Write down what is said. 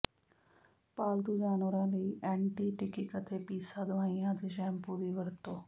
ਪਾਲਤੂ ਜਾਨਵਰਾਂ ਲਈ ਐਂਟੀ ਟਿਕਿਕ ਅਤੇ ਪੀਸਾ ਦਵਾਈਆਂ ਅਤੇ ਸ਼ੈਂਪੂ ਦੀ ਵਰਤੋਂ